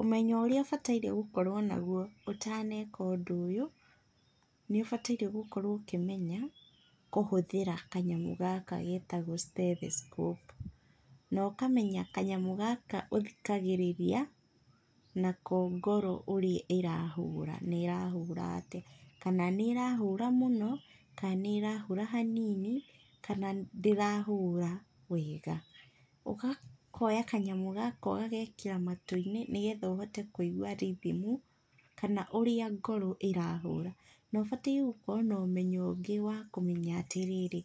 Ũmenyo ũrĩa bataire gũkorwo naguo ũtaneka ũndũ ũyũ, nĩũbataire gũkorwo ũkĩmenya kũhũthĩra kanyamũ gaka getagwo stethoscope. Na ũkamenya kanyamũ gaka ũthikagĩrĩria nako ngoro ũrĩa ĩrahũra na ĩrahũra atĩa, kana nĩ ĩrahura mũno, kana nĩ ĩrahũra hanini, kana ndĩrahũra wega. Ũgakoya kanyamũ gaka ũgagekĩra matũ-inĩ, nĩgetha ũhote kũigua rithimu, kana ũrĩa ngoro ĩrahũra. Na ubataire gũkorwo na ũmenyo ũngĩ wa kũmenya atĩrĩrĩ,